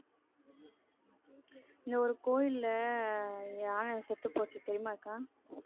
இந்த ஒரு கோவில்ல யானை செத்துப்போச்சு தெரியுமா அக்கா